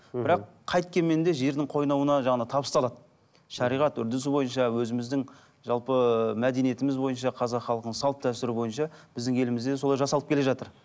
бірақ қайткенмен де жердің қойнауына жаңағы табысталады шариғат үрдісі бойынша өзіміздің жалпы мәдениетіміз бойынша қазақ халқының салт дәстүрі бойынша біздің елімізде де солай жасалып келе жатыр